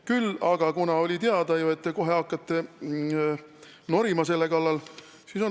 Küll aga oli ju teada, et te hakkate kohe selle kallal norima.